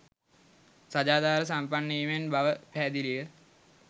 සදාචාර සම්පන්න වීමෙන් බව පැහැදිලිය